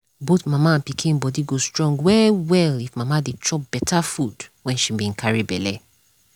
both mama and pikin body go strong well well if mama dey chop better food wen she been carry belle